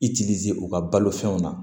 I t'izi u ka balo fɛnw na